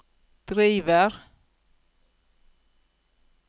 driver